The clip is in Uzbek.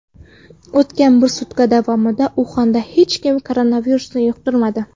O‘tgan bir sutka davomida Uxanda hech kim koronavirus yuqtirmadi.